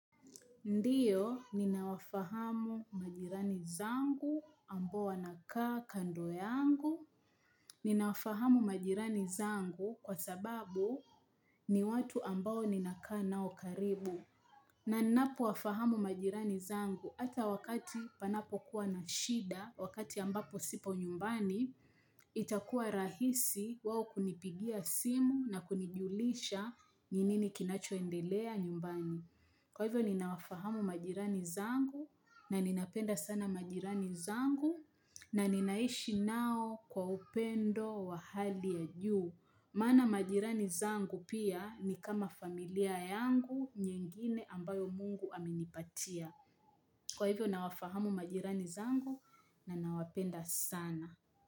Ndio ninawafahamu majirani zangu ambao wanakaa kando yangu Ninawafahamu majirani zangu kwa sababu ni watu ambao ninakaa nao karibu. Na ninapo wafahamu majirani zangu hata wakati panapo kuwa na shida, wakati ambapo sipo nyumbani, itakuwa rahisi wao kunipigia simu na kunijulisha ni nini kinacho endelea nyumbani. Kwa hivyo ninawafahamu majirani zangu na ninapenda sana majirani zangu na ninaishi nao kwa upendo wa hali ya juu. Maana majirani zangu pia ni kama familia yangu nyingine ambayo mungu aminipatia. Kwa hivyo ninawafahamu majirani zangu na ninawapenda sana.